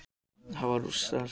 Þá hafa Rússar áheyrnarfulltrúa